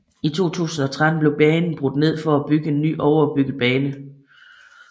I 2013 blev banen brudt ned for at bygge en ny overbygget bane